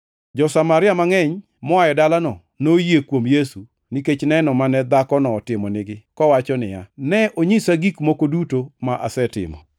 Jo-Samaria mangʼeny moa e dalano noyie kuom Yesu nikech neno mane dhakono otimonigi kowacho niya, “Ne onyisa gik moko duto ma asetimo.”